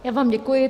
Já vám děkuji.